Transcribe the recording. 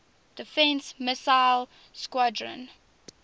defense missile squadron